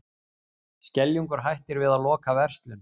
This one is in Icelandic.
Skeljungur hættir við að loka verslun